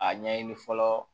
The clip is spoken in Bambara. A ɲɛɲini fɔlɔ